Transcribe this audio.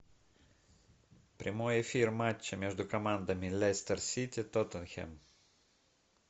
прямой эфир матча между командами лестер сити тоттенхэм